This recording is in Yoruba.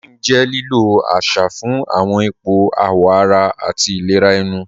Ním jẹ́ lílò àṣà fún awọn ìpọ̀ àwọ̀ ara àti ìlẹ̀rà ènù.